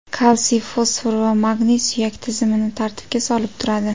Kalsiy, fosfor va magniy suyak tizimini tartibga solib turadi.